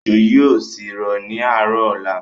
Ójó yìí ó sì rọ̀ ni àárọ̀ ọ̀la.